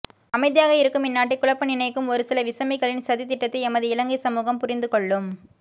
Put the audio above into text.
அமைதியாக இருக்கும் இன்நாட்டை குழப்ப நினைக்கும் ஒரு சில விசமிகளின் சதித்திட்டத்தை எமது இலங்கை சமுகம் புரிந்துகொள்ளும்